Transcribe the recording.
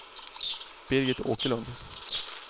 Birgit Åkerlund